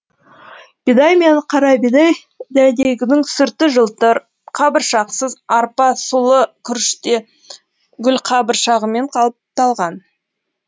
бидай мен қарабидай дәнегінің сырты жылтыр қабыршақсыз арпа сұлы күріште гүлқабыршағымен қапталған